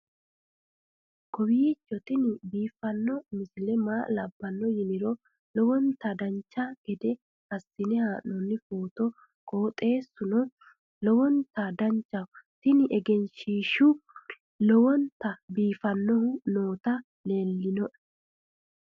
kowiicho tini biiffanno misile maa labbanno yiniro lowonta dancha gede assine haa'noonni foototi qoxeessuno lowonta danachaho. tini egenshshiishu lowonta biifannohu nooti leeltinoe